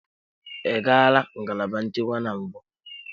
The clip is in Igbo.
Ị gala ngalaba nchekwa na mbụ?